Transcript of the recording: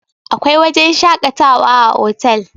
akwai wajen shakatawa a otal